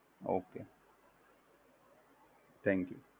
Okay Thank you